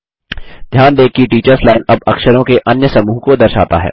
ध्यान दें कि टीचर्स लाइन अब अक्षरों के अन्य समूह को दर्शाता है